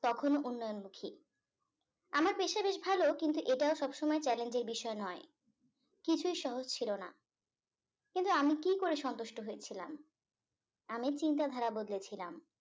কখনো উন্নয়নমুখী আমার পেশা বেশ ভালো কিন্তু এটা সবসময় challenge এর বিষয় নয় কিছুই সহজ ছিল না কিন্তু আমি কি করে সন্তুষ্ট হয়ে ছিলাম আমি চিন্তা ধারা বদলেছিলাম